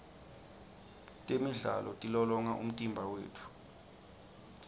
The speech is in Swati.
temidlalo tilolonga umtimba wetfu